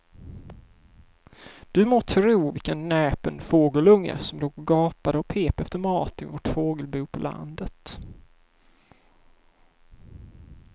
Du må tro vilken näpen fågelunge som låg och gapade och pep efter mat i vårt fågelbo på landet.